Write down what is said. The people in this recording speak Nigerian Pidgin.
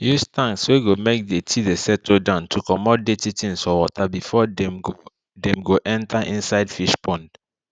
use tanks wey go make dirty de settle down to comot dirty things for water before dem go dem go enter inside fish pond